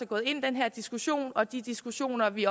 gået ind i den her diskussion og til de diskussioner vi